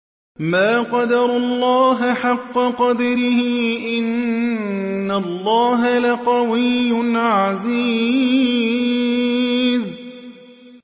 مَا قَدَرُوا اللَّهَ حَقَّ قَدْرِهِ ۗ إِنَّ اللَّهَ لَقَوِيٌّ عَزِيزٌ